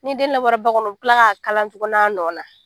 Ni den labɔra ba kɔnɔ u bɛ tila k'a kala tuguni a nɔ na